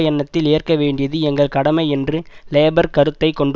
எண்ணத்தில் ஏற்க வேண்டியது எங்கள் கடமை என்று லேபர் கருத்தை கொண்டு